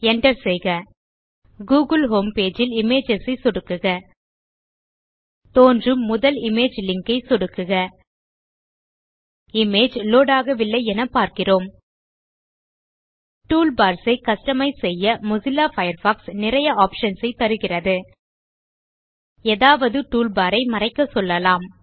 Enter செய்க Google home page ல் images ஐ சொடுக்குக தோன்றும் முதல் இமேஜ் லிங்க் ஐ சொடுக்குக இமேஜ் லோட் ஆகவில்லை எனப் பார்க்கிறோம் டூல்பார்ஸ் ஐ கஸ்டமைஸ் செய்ய மொசில்லா பயர்ஃபாக்ஸ் நிறைய ஆப்ஷன்ஸ் ஐத் தருகிறது எதாவது டூல்பார் ஐ மறைக்க சொல்லலாம்